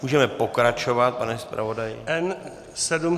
Můžeme pokračovat, pane zpravodaji.